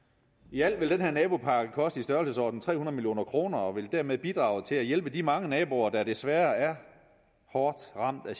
i alt vil den her nabopakke koste i størrelsesordenen tre hundrede million kroner og vil dermed bidrage til at hjælpe de mange naboer der desværre er hårdt ramt af